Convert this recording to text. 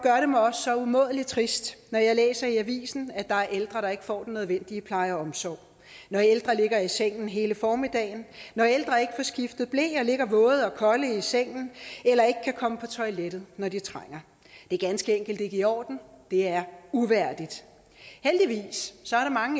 så umådelig trist når jeg læser i avisen at der er ældre der ikke får den nødvendige pleje og omsorg når ældre ligger i sengen hele formiddagen når ældre ikke får skiftet ble og ligger våde og kolde i sengen eller ikke kan komme på toilettet når de trænger det er ganske enkelt ikke i orden det er uværdigt heldigvis